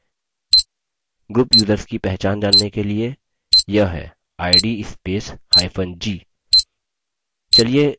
group users की पहचान जानने के लिए यह है id spacehyphen g